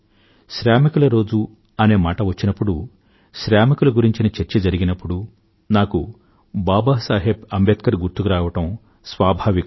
శ్రామికుల రోజు అనే మాట వచ్చినప్పుడు శ్రామికుల గురించిన చర్చ జరుగినప్పుడు నాకు బాబాసాహెబ్ అంబేడ్కర్ గారు గుర్తుకురావడం స్వాభావికమే